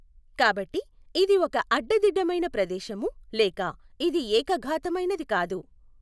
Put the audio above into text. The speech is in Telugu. కాబట్టి ఇది ఒక అడ్డదిడ్డమైన ప్రదేశము లేక ఇది ఏకఘాతమైనది కాదు.